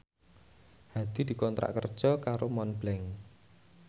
Hadi dikontrak kerja karo Montblanc